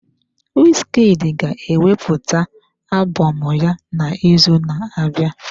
Wizkid ga-ewepụta alụbọm ya n'izu na-abịa.